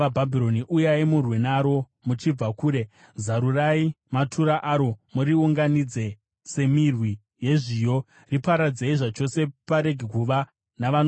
Uyai murwe naro muchibva kure. Zarurai matura aro; muriunganidze semirwi yezviyo. Riparadzei zvachose, parege kuva navanosara.